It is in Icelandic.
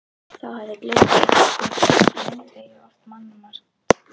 Þá hafði gleðin setið í öndvegi og oft mannmargt.